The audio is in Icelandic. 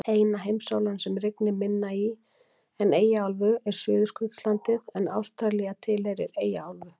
Eina heimsálfan sem rignir minna í en Eyjaálfu er Suðurskautslandið en Ástralía tilheyrir Eyjaálfu.